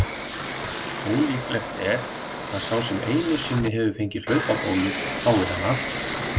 Ólíklegt er að sá sem einu sinni hefur fengið hlaupabólu fái hana aftur.